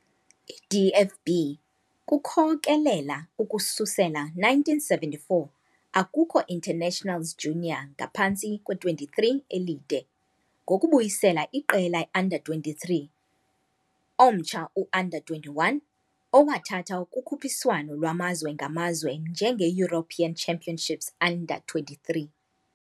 I DFB kukhokelela ukususela 1974 akukho internationals junior "Ngaphantsi kwe-23" elide, ngokubuyisela iqela "U-23", omtsha "U-21", owathatha kukhuphiswano lwamazwe ngamazwe njenge "European Championship U-23".